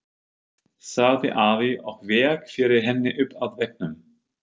sagði afi og vék fyrir henni upp að veggnum.